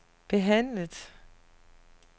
behandlet